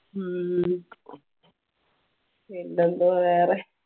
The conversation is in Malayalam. ഹും പിന്നെന്തുവാ വേറെ